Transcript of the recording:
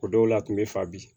O dɔw la a kun be fa bi